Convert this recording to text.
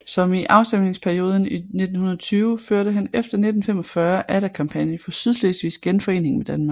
Som i afstemningsperioden i 1920 førte han efter 1945 atter kampagne for Sydslesvigs genforening med Danmark